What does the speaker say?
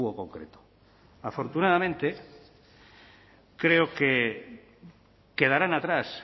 concreto afortunadamente creo que quedarán atrás